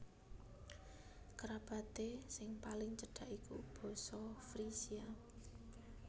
Kerabaté sing paling cedak iku basa Frisia